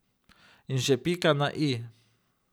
In še pika na i.